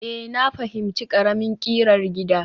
Ee, na fahimci ƙaramin ƙirar gida